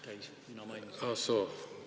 Ah soo, pinginaaber ütleb, et käis.